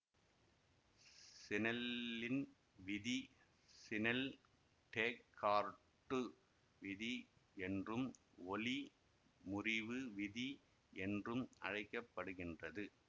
சினெல்லின் விதி சினெல்டேக்கார்ட்டு விதி என்றும் ஒளி முறிவு விதி என்றும் அழைக்க படுகின்றது